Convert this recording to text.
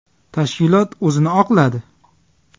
Tashkilot o‘zini oqladi.